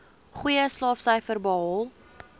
goeie slaagsyfers behaal